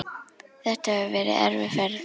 Þetta hefur verið erfið ferð.